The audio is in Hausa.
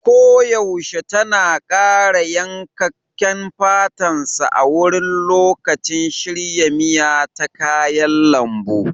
Koyaushe tana ƙara yankakken fatan sa wurin lokacin shirya miya ta kayan lambu.